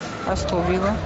астон вилла